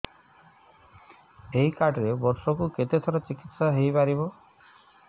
ଏଇ କାର୍ଡ ରେ ବର୍ଷକୁ କେତେ ଥର ଚିକିତ୍ସା ହେଇପାରିବ